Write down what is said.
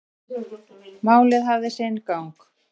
Málið hafi sinn gang.